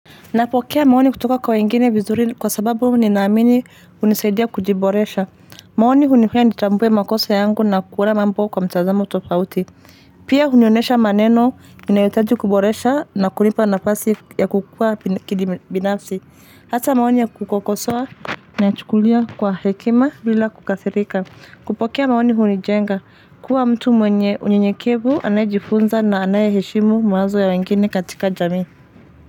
Napokea maoni kutoka kwa wengine vizuri kwa sababu ninaamini hunisaidia kujiboresha. Maoni hunifanya nitambue makosa yangu na kuona mambo kwa mtazamo tofauti. Pia hunionesha maneno inayohitaji kuboresha na kunipa nafasi ya kukua kibinafsi. Hasa maoni ya kukosoa nachukulia kwa hekima bila kukasirika. Kupokea maoni hunijenga kuwa mtu mwenye unyenyekevu anayejifunza na anayeheshimu mawazo ya wengine katika jamii.